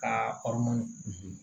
K'a